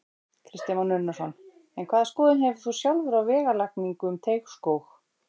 Kristján Már Unnarsson: En hvaða skoðun hefur þú sjálfur á vegalagningu um Teigsskóg?